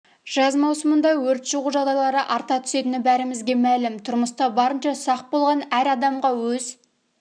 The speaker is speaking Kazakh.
жаз маусымында өрт шығу жағдайлары арта түсетіні бәрімізге мәлім тұрмыста барынша сақ болған әр адамға өз